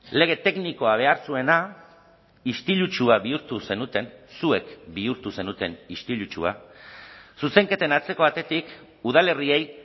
lege teknikoa behar zuena istilutsua bihurtu zenuten zuek bihurtu zenuten istilutsua zuzenketen atzeko atetik udalerriei